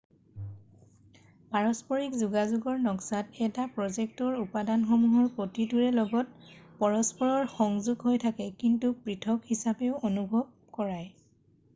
পৰস্পৰিক যোগাযোগৰ নক্সাত এটা প্ৰ'জেক্টৰ উপাদানসমূহৰ প্ৰতিটোৰে লগত পৰস্পৰ সংযোগ হৈ থাকে কিন্তু পৃথক হিচাপেও অনুভৱ কৰায়